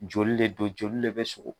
Joli de don joli le bɛ sugo